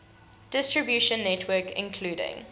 distribution network including